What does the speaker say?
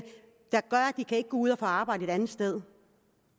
de ikke kan gå ud og få arbejde et andet sted